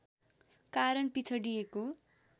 कारण पिछडिएको